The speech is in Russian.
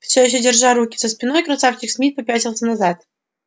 всё ещё держа руки за спиной красавчик смит попятился назад